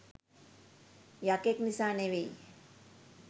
යකෙක් නිසා නෙවෙයි